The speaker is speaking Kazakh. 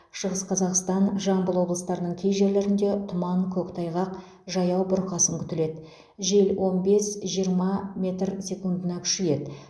шығыс қазақстан жамбыл облыстарының кей жерлерінде тұман көктайғақ жаяу бұрқасын күтіледі жел он бес жиырма метр секундына күшейеді